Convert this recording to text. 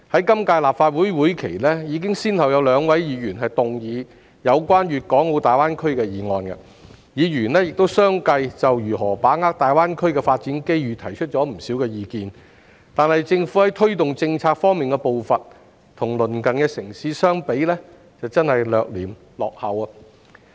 今屆立法會會期已先後有兩位議員動議有關大灣區的議案，議員亦相繼就如何把握大灣區的發展機遇提出了不少意見，但政府在推動政策方面的步伐，與鄰近城市相比，真的是略嫌落後。